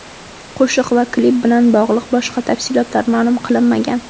Qo‘shiq va klip bilan bog‘liq boshqa tafsilotlar ma’lum qilinmagan.